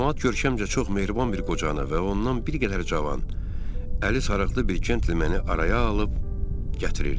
Camaat görkəmcə çox mehriban bir qoca ilə və ondan bir qədər cavan, əli sarıqlı bir cəntlə məni araya alıb gətirirdi.